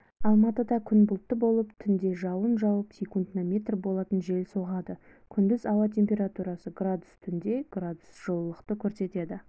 алматыда күн бұлтты болып түнде жауын жауып секундына метр болатын жел соғады күндіз ауа температурасы градус түнде градус жылылықты көрсетеді